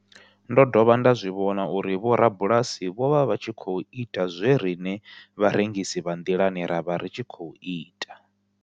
Ndo dovha nda zwi vhona uri vhorabulasi vho vha vha tshi khou ita zwe riṋe vharengisi vha nḓilani ra vha ri tshi khou ita.